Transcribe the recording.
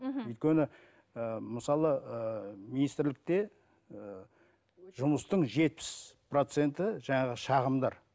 мхм өйткені ііі мысалы ыыы министрлікте ыыы жұмыстың жетпіс проценті жаңағы шағымдар